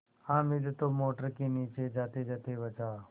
हामिद तो मोटर के नीचे जातेजाते बचा